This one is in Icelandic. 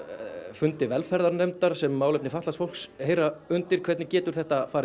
fundi velferðarnefndar sem málefni fatlaðs fólks heyra undir hvernig getur þetta farið